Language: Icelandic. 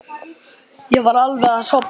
Ég var alveg að sofna.